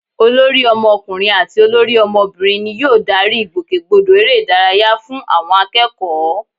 Olórí ọmọkùnrin àti olórí ọmọbìnrin ni yóò darí ìgbòkègbodò eré ìdárayá fún àwọn akẹ́kọ̀ọ́